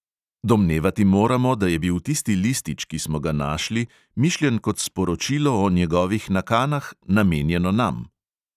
Domnevati moramo, da je bil tisti listič, ki smo ga našli, mišljen kot sporočilo o njegovih nakanah, namenjeno nam.